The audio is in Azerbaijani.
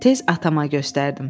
Tez atama göstərdim.